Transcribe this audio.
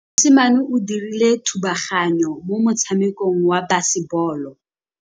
Mosimane o dirile thubaganyô mo motshamekong wa basebôlô.